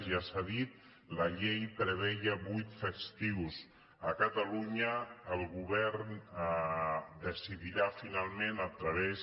ja s’ha dit la llei preveia vuit festius a catalunya el govern decidirà finalment a través